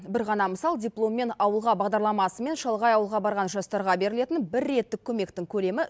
бір ғана мысал дипломмен ауылға бағдарламасымен шалғай ауылға барған жастарға берілетін бір реттік көмектің көлемі